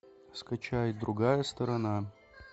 скачай другая сторона